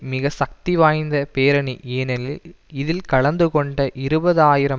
மிக சக்தி வாய்ந்த பேரணி ஏனெனிலில் இதில் கலந்து கொண்ட இருபது ஆயிரம்